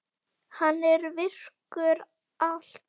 Hann er virkur allt árið.